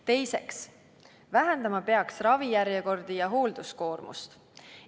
Teiseks, vähendama peaks ravijärjekordi ja hoolduskoormust.